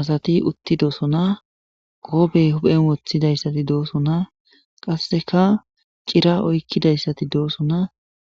asati utti doosona qoobey huphen wothidayssati doosona qasseka cira oykkidayssati doosona